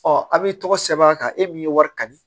Ɔ a b'i tɔgɔ sɛbɛn a kan e min ye wari ka di